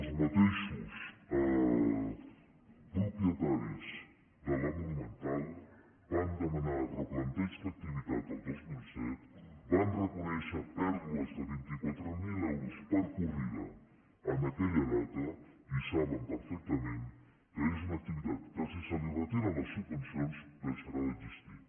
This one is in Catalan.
els mateixos propietaris de la monumental van demanar replanteig d’activitat el dos mil set van reconèixer pèrdues de vint quatre mil euros per corrida en aquella data i saben perfectament que és una activitat que si se li retiren les subvencions deixarà d’existir